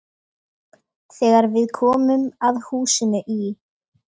Þegar við komum að húsinu í